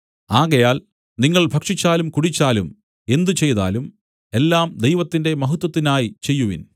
ആകയാൽ നിങ്ങൾ ഭക്ഷിച്ചാലും കുടിച്ചാലും എന്തുചെയ്താലും എല്ലാം ദൈവത്തിന്റെ മഹത്വത്തിനായി ചെയ്യുവിൻ